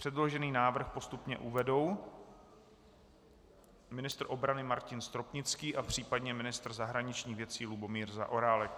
Předložený návrh postupně uvedou ministr obrany Martin Stropnický a případně ministr zahraničních věcí Lubomír Zaorálek.